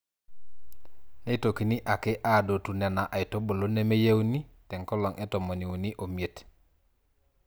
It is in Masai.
Neitokini ake aadotu Nena aitubulu nemeyieuni te nkolong e tomoniuni omiet.